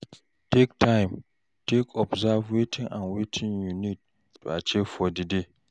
Take time take observe wetin and wetin you need to achieve for di day